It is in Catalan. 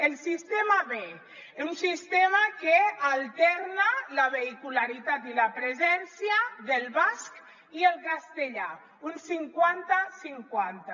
el sistema b un sistema que alterna la vehicularitat i la presència del basc i el castellà un cinquanta cinquanta